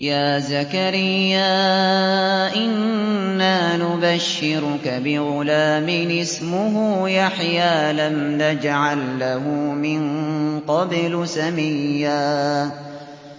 يَا زَكَرِيَّا إِنَّا نُبَشِّرُكَ بِغُلَامٍ اسْمُهُ يَحْيَىٰ لَمْ نَجْعَل لَّهُ مِن قَبْلُ سَمِيًّا